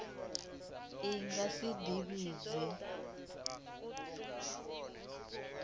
i nga si ḓi vhidze